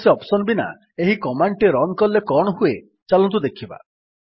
କୌଣସି ଅପ୍ସନ୍ ବିନା ଏହି କମାଣ୍ଡ୍ ଟି ରନ୍ କଲେ କଣ ହୁଏ ଚାଲନ୍ତୁ ଦେଖିବା